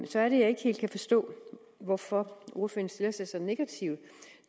så er det jeg ikke helt kan forstå hvorfor ordføreren stiller sig så negativt